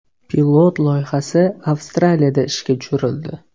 Pilot loyihasi Avstraliyada ishga tushirildi.